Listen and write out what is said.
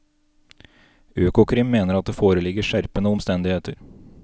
Økokrim mener at det foreligger skjerpende omstendigheter.